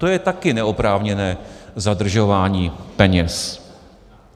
To je také neoprávněné zadržování peněz.